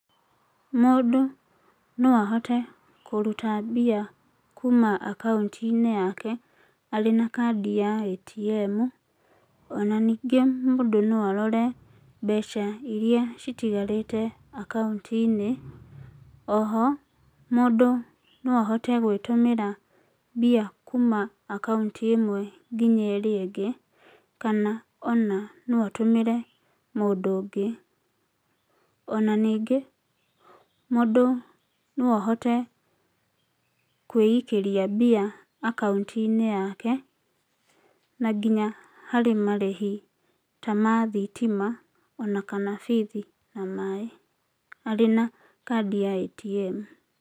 Mũndũ no ahote kũruta mbia kuma akaunti-inĩ yake arĩ na kaadi ya ATM, ona ningĩ mũndũ no arore mbeca iria citigarĩte akaunti-inĩ. Oho, mũndũ no ahote gwĩtũmĩra mbia kuma akaunti ĩmwe nginya ĩrĩa ĩngĩ, kana ona no atũmĩre mũndũ ũngĩ. Ona ningĩ mũndũ no ahote kwĩikĩria mbia akaunti-inĩ yake na nginya harĩ marĩhi ta ma thitima ona kana bithi na maĩ, arĩ na kaadi ya ATM.